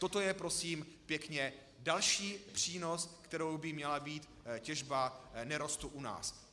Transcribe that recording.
Toto je, prosím pěkně, další přínos, kterým by měla být těžba nerostu u nás.